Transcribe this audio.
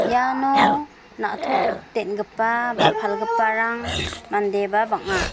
iano na·tok den·gipa ba palgiparang mandeba bang·a.